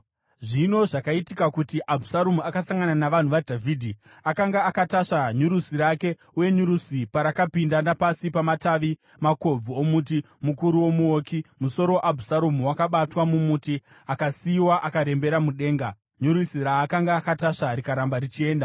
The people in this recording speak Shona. Zvino zvakaitika kuti Abhusaromu akasangana navanhu vaDhavhidhi. Akanga akatasva nyurusi rake, uye nyurusi parakapinda napasi pamatavi makobvu omuti mukuru womuouki, musoro waAbhusaromu wakabatwa mumuti. Akasiyiwa akarembera mudenga, nyurusi raakanga akatasva rikaramba richienda.